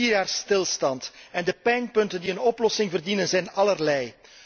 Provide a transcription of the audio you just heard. Er is al vier jaar stilstand, en de pijnpunten die een oplossing verdienen, zijn allerlei.